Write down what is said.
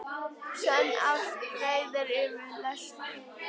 Sönn ást breiðir yfir lesti.